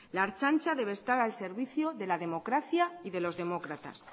la ertzaintza debe estar al servicio de la democracia y de los demócratas